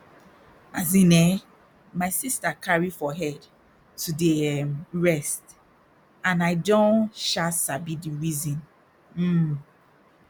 as in eh my sister carry for head to dey erm rest and i don um sabi di reason um